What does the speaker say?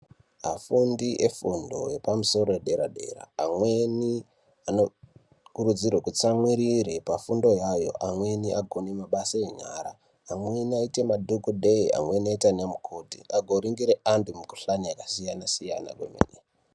Afundi efundo yepamusoro yedera-dera, amweni anokurudzirwe kutsamwirire pafundo yayo, amweni agone mabasa enyara. Amweni aite madhokodheya, amweni oita nemukoti agoringire antu mikuhlani yakasiyana-siyana kwemene.